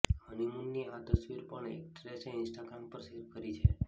હનીમૂનની આ તસવીરો પણ એક્ટ્રેસે ઈન્સ્ટાગ્રામ પર શેર કરી છે